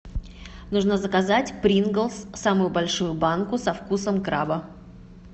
нужно заказать приглс самую большую банку со вкусом краба